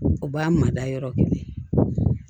O b'a mada yɔrɔ kelen